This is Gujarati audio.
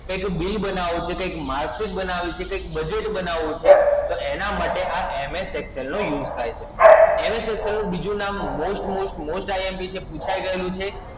કઈક Bill બનાવવું છે, કઈક Marksheet બનાવવું છે, કઈક Budget બનાવવું છે, તો એના માંટે આ MS Excel નો use થાય છે. MS Excel નું બીજું નામ Most most most IMP છે પૂછાઇ ગયેલું છે.